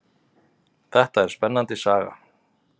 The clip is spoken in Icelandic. Þetta er spennandi saga.